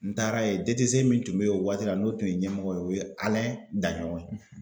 N taara ye DTC min tun be yen o waati la n'o tun ye ɲɛmɔgɔ ye o ye Alain Daɲɔgɔn ye.